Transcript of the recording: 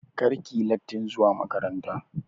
Kar ki yi lattin zuwa makaranta!